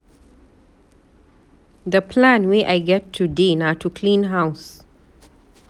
The plan wey i get today na to clean house.